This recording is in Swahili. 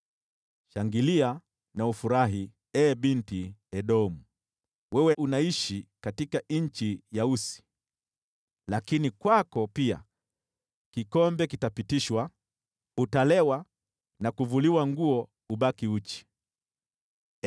Shangilia na ufurahi, ee Binti Edomu, wewe unayeishi nchi ya Usi. Lakini kwako pia kikombe kitapitishwa, Utalewa na kuvuliwa nguo ubaki uchi.